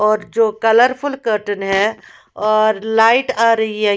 और जो colourful curtain है और लाईट आ रही है।